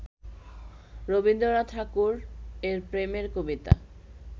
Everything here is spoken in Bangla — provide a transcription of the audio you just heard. রবীন্দ্রনাথ ঠাকুর এর প্রেমের কবিতা